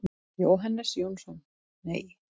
Jóhannes Jónsson: Nei.